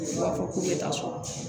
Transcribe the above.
U b'a fɔ k'u bɛ taa sɔrɔ